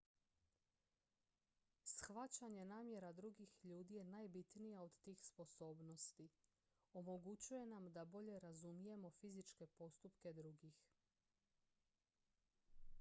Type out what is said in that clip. shvaćanje namjera drugih ljudi je najbitnija od tih sposobnosti omogućuje nam da bolje razumijemo fizičke postupke drugih